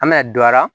An bɛna don a la